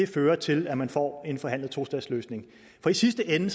fører til at man får en forhandlet tostatsløsning for i sidste ende